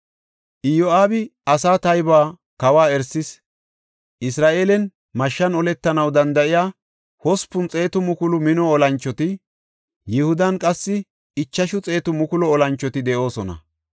Iyo7aabi asaa taybuwa kawa erisis; Isra7eelen mashshan oletanaw danda7iya hospun xeetu mukulu mino olanchoti, Yihudan qassi ichashu xeetu mukulu olanchoti de7oosona.